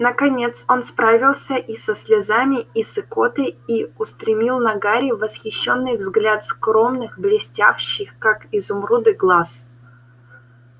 наконец он справился и со слезами и с икотой и устремил на гарри восхищенный взгляд скромных блестевших как изумруды глаз